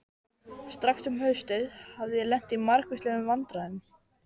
Strax um haustið hafði ég lent í margvíslegum vandræðum.